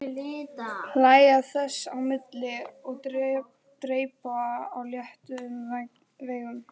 Hlæja þess á milli og dreypa á léttum veigum.